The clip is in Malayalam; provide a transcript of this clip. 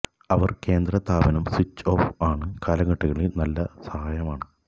അവർ കേന്ദ്ര താപനം സ്വിച്ച് ഓഫ് ആണ് കാലഘട്ടങ്ങളിൽ നല്ല സഹായമാണ്